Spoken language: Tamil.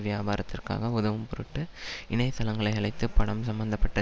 வியாபாரத்திற்கு உதவும்பொருட்டு இணையதளங்களை அழைத்து படம் சம்பந்த பட்ட